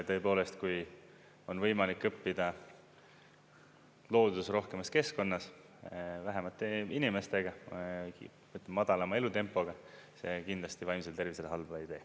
Tõepoolest, kui on võimalik õppida looduserohkemas keskkonnas, vähemate inimestega, madalama elutempoga, see kindlasti vaimsele tervisele halba ei tee.